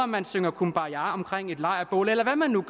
man synger cumbaja omkring et lejrbål eller hvad man nu